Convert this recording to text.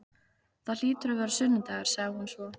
Það hlýtur að vera sunnudagur, sagði hún svo.